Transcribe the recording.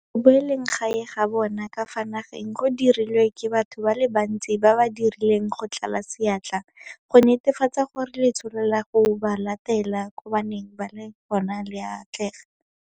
Go boeleng gae ga bona ka fa nageng go dirilwe ke batho ba le bantsi ba ba dirileng go tlala seatla go netefatsa gore letsholo la go ba latela ko ba neng ba le gona le a atlega.